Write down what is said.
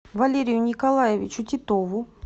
валерию николаевичу титову